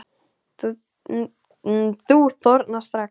Þú þornar strax.